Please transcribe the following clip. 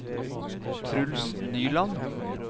Truls Nyland